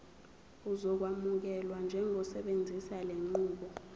uzokwamukelwa njengosebenzisa lenqubo